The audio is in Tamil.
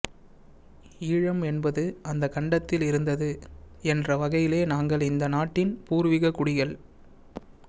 ஈழம் என்பது அந்த கண்டத்தில் இருந்தது என்ற வகையிலே நாங்கள் இந்த நாட்டின் பூர்வீககுடிகள்